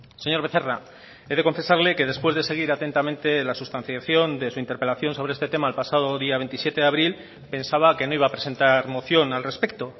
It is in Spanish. señor becerra he de confesarle que después de seguir atentamente la sustanciación de su interpelación sobre este tema el pasado día veintisiete de abril pensaba que no iba a presentar moción al respecto